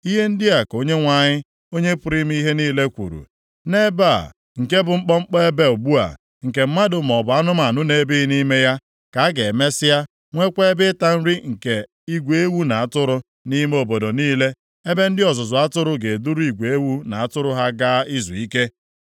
“Ihe ndị a ka Onyenwe anyị, Onye pụrụ ime ihe niile kwuru, ‘Nʼebe a, nke bụ mkpọmkpọ ebe ugbu a, nke mmadụ maọbụ anụmanụ na-ebighị nʼime ya, ka a ga-emesịa nweekwa ebe ịta nri nke igwe ewu na atụrụ, nʼime obodo niile, ebe ndị ọzụzụ atụrụ ga-eduru igwe ewu na atụrụ ha gaa izuike.